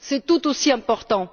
C'est tout aussi important!